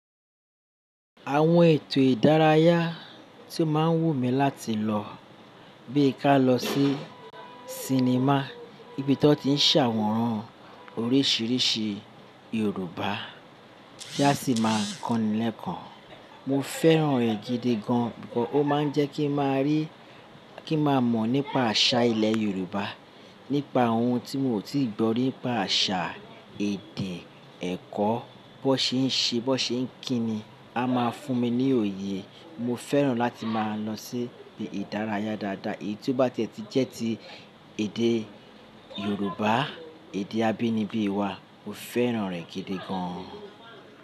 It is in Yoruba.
Àwọn ètò ìdárayá tí ó máa ń wù mí láti lọ, bíi ká lọ sí cinema, ibi tí wọ́n ti ń ṣe awon oríṣiríṣi Yorùbá tí a sì máa ń kọ́ni lẹ́ẹ̀kan. Mo fẹ́ràn rẹ̀ gidi gan, because ó máa ń jẹ́ kí máa rí, kí máa mọ̀ nípa àṣà ilẹ̀ Yorùbá, nípa ohun tí mi ò tíì gbọ́ nípa àṣà, èdè, ẹ̀kọ́, bó ṣe ń ṣe, bó ṣe ń kí ni, a máa fún mi ní òye. Mo fẹ́ràn láti máa lọ sí ibi ìdárayá dáadáa. Èyí ti ó bá ti e tì jẹ́ ti èdè Yorùbá, èdè abínibí wa, mo fẹ́ràn rẹ̀ gidi gan.